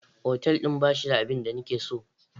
Otal din ba shi da abin da nake so.